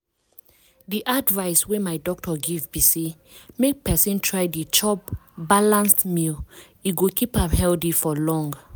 di advice wey my doctor give be say make persin try dey chop balanced meals e go keep am healthy for long.